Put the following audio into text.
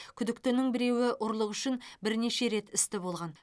күдіктінің біреуі ұрлық үшін бірнеше рет істі болған